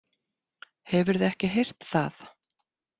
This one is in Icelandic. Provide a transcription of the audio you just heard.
Hefurðu ekki heyrt það?